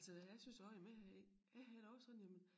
Altså jeg synes også jamen jeg har ikke jeg har det også sådan jamen